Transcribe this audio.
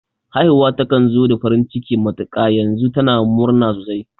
Haifuwa takan zo da farin ciki matuƙa, yanzu tana murna sosai